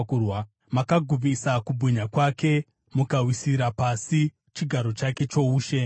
Makagumisa kubwinya kwake, mukawisira pasi chigaro chake choushe.